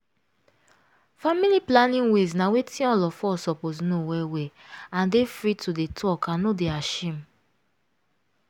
family planning ways na wetin all of us suppose know well well and dey free to dey talk and no dey ashame.